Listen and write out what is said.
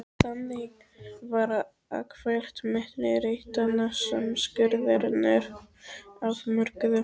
Þannig var akfært milli reitanna sem skurðirnir afmörkuðu.